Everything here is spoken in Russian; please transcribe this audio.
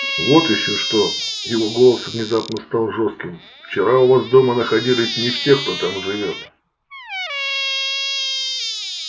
вот ещё что его голос внезапно стал жёстким вчера у вас дома находились не все кто там живёт